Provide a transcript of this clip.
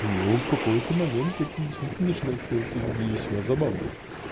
ну в какой-то момент это действительно начинается белиссимо забавно